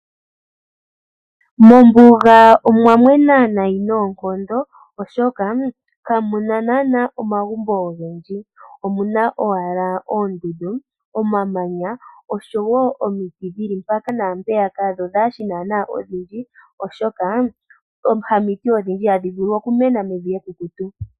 Mombuga omwa mwena nayi noonkondo oshoka ka muna naana omagumbo ogendji. Omuna owala oondundu, omamanya oshowo omiti dhili mpaka naampeyaka dho dhaashi naana odhindji. Oshoka hamiti odhindji hadhi vulu oku mena mevi ekukutu.